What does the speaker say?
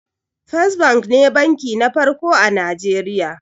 First bank ne banki na farko a najeriya